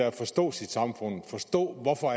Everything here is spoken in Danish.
at forstå sit samfund forstå hvorfor